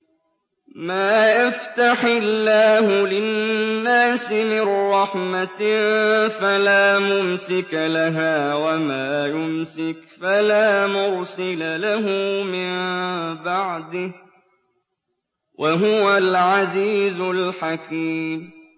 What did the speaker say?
مَّا يَفْتَحِ اللَّهُ لِلنَّاسِ مِن رَّحْمَةٍ فَلَا مُمْسِكَ لَهَا ۖ وَمَا يُمْسِكْ فَلَا مُرْسِلَ لَهُ مِن بَعْدِهِ ۚ وَهُوَ الْعَزِيزُ الْحَكِيمُ